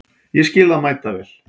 Ég skil það mæta vel.